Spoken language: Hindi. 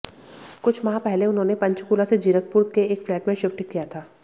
कुछ माह पहले उन्होंने पंचकूला से जीरकपुर के एक फ्लैट में शिफ्ट किया था